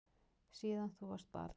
Síðan þú varst barn.